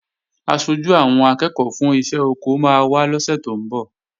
Aṣojú àwọn akẹ́ẹ̀kọ́ fún iṣẹ́ oko máa wá lọ́sè tó ń bọ̀